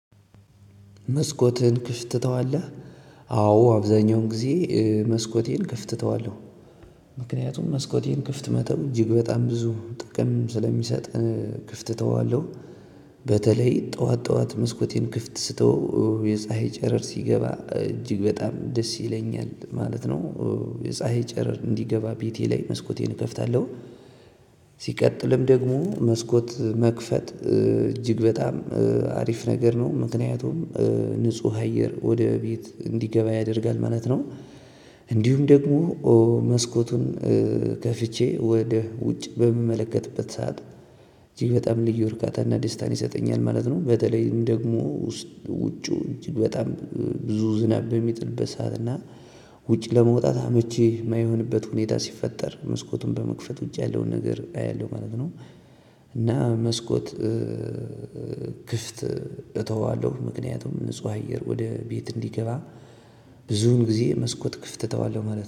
መስኮትን ክፍት ትተዋለህ? አዎ አብዛኛውን ጊዜ መስኮቴን ክፍት እተዋለሁ። ምክንያቱም መስኮቴን ክፍት መተው እጅግ በጣም ብዙ ጥቅም ስለሚሰጥ ክፍት እተዋለሁ። በተለይ ጠዋት ጠዋት መስኮቴን ክፍት ስተወው የፀሀይ ጨረር ሲገባ እጅግ በጣም ደስ ይለኛል ማለት ነው። የፀሀይ ጨረር እንዲገባ ቤቴ ላይ መስኮቴን እከፍታለሁ። ሲቀጥልም ደግሞ መስኮት መክፈት እጅግ በጣም አሪፍ ነገር ነው። ምክንያቱም ንጹህ አየር ወደ ቤት እንዲገባ ያደርጋል ማለት ነው። እንዲሁም ደግሞ መስኮቱን ከፍቼ ወደ ውጭ በምመለከትበት ሰዓት እጅግ በጣም ልዩ እርካታና ደስታን ይሰጠኛል ማለት ነው። በተለይም ደግሞ ውስጥ ውጩ በጣም ብዙ ዝናብ በሚጥልበት ሰዓት እና ውጭ ለመውጣት አመቺ የማይሆንበት ሁኔታ ሲፈጠር መስኮቱን በመክፈት ውጭ ያለውን ነገር አያለሁ ማለት ነው። እና መስኮት ክፍት እተዋለሁ ምክንያቱም ንጹህ አየር ወደ ቤት እንዲገባ ብዙውን ጊዜ መስኮት ክፍት እተዋለሁ ማለት ነው